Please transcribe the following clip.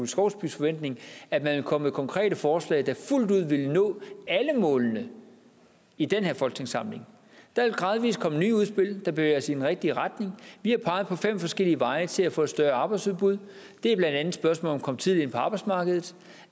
skovsbys forventning at man vil komme med konkrete forslag der fuldt ud vil nå alle målene i den her folketingssamling der vil gradvis komme nye udspil der bevæger os i den rigtige retning vi har peget på fem forskellige veje til at få et større arbejdsudbud det er blandt andet spørgsmålet om tidligt ind på arbejdsmarkedet